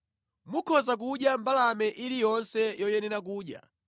Mukhoza kudya mbalame iliyonse yoyenera kudya.